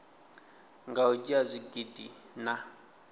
nga u dzhia zwigidi na